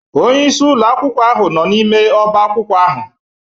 Onye isi ụlọ akwụkwọ ahụ nọ n'ime ọba akwụkwọ ahụ.